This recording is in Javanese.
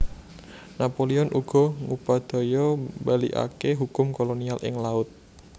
Napoleon uga ngupadaya mbalikaké hukum kolonial ing laut